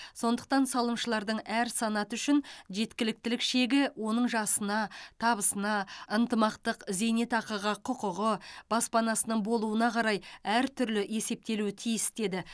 сондықтан салымшылардың әр санаты үшін жеткіліктілік шегі оның жасына табысына ынтымақтық зейнетақыға құқығы баспанасының болуына қарай әртүрлі есептелуі тиіс деді